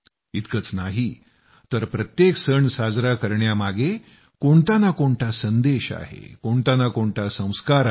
इतकंच नाही तर प्रत्येक सण साजरा करण्यामागे कोणता ना कोणता संदेश आहे कोणता ना कोणता संस्कार आहे